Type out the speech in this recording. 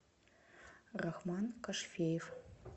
рахман кашфеев